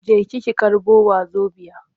Jeki ki karɓo wazobiya!